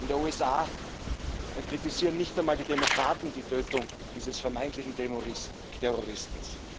In den USA kritisieren nicht einmal die Demokraten die Tötung dieses vermeintlichen Terroristen.